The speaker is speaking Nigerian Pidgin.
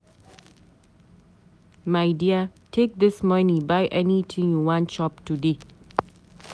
My dear take dis money buy anything you wan chop today.